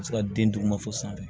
A bɛ se ka den duguma fɔlɔ sanfɛ